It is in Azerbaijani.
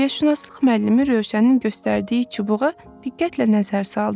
Təbiətşünaslıq müəllimi Rövşənin göstərdiyi çubuğa diqqətlə nəzər saldı.